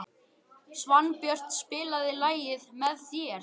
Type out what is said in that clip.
Svanbjört, spilaðu lagið „Með þér“.